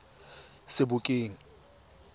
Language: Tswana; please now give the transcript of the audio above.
sebokeng